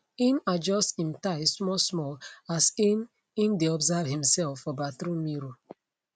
im adjust im tie small small as im im dae observe himself for bathroom mirror